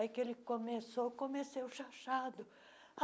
Aí que ele começou, comecei o xaxado.